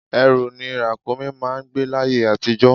Ẹrù ni Ràkúnmí máà ń gbé l'ayé àtijó